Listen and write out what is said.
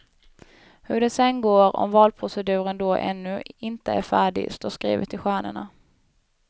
Hur det sedan går, om valproceduren då ännu inte är färdig, står skrivet i stjärnorna.